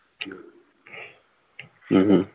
ਹਮ ਹਮ